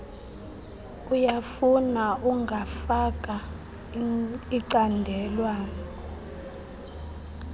uyafuna ungafaka icandelwana